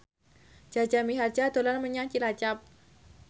Jaja Mihardja dolan menyang Cilacap